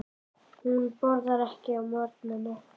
Hún borðar ekki á morgnana.